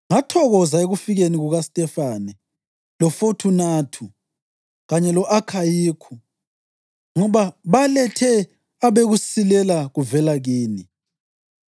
Ngathokoza ekufikeni kukaStefane loFothunathu kanye lo-Akhayikhu ngoba balethe obekusilela kuvela kini.